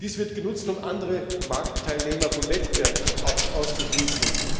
Dies wird genutzt, um andere Marktteilnehmer vom Wettbewerb auszuschließen.